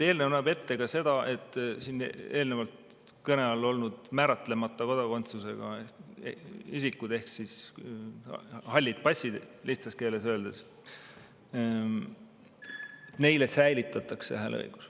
Eelnõu näeb ette ka seda, et siin eelnevalt kõne all olnud määratlemata kodakondsusega isikutele ehk lihtsas keeles öeldes halli passi omanikele säilitatakse hääleõigus.